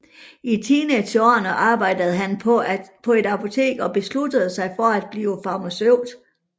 I teenageårene arbejde han på et apotek og besluttede sig for at blive farmaceut